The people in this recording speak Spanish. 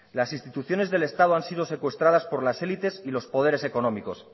las instituciones del estado han sido secuestradas por las élites y los poderes económicos